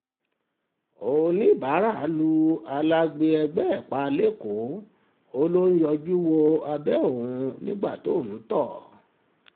ọ̀níbàárà lu alágbe ẹgbẹ́ ẹ̀ pa lẹ́kọ̀ọ́ ó lọ ń yọjú wo abẹ́ òun nígbà tóun ń tọ̀